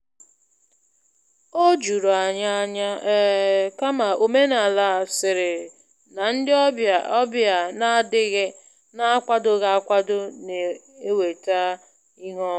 O juru anyị ányá, um kama omenala sịrị na ndị ọbịa ọbịa n'akwadoghị akwado na- eweta ihu ọma.